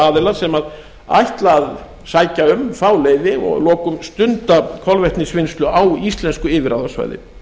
aðila sem ætla að sækja um og fá leyfi og að lokum stunda kolvetnisvinnslu á íslensku yfirráðasvæði